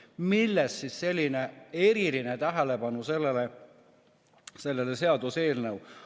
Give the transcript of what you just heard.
Millest siis selline eriline tähelepanu sellele seaduseelnõule?